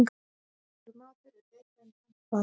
Magur matur er betri en tómt fat.